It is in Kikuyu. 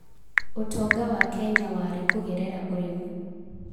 ũtonga wa Kenya warĩ kũgerera ũrĩmi.